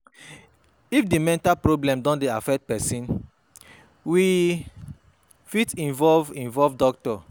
If di mental problem don dey affect person, we fit involve involve doctor